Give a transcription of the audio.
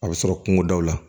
A bɛ sɔrɔ kungodaw la